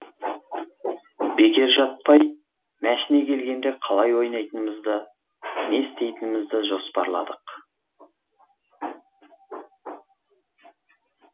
бекер жатпай мәшіне келгенде қалай ойнайтынымызды не істейтінімізді жоспарладық